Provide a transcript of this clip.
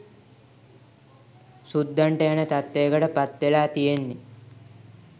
සුද්දන්ට යන තත්ත්වයකට පත්වෙලා තියෙන්නේ